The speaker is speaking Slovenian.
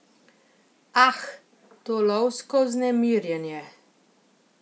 Ah, to lovsko vznemirjenje.